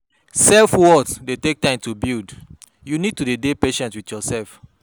Self worth dey take time to build, you need to dey patient with yourself